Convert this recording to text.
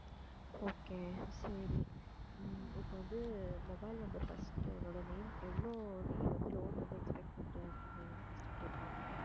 okay சரி உம் இப்போ வந்து mobile number first உன்னோட name எவ்வளவு நீ வந்து loan வந்து expect பண்ற அப்படின்னு சொல்லிட்டு first கேட்பாங்க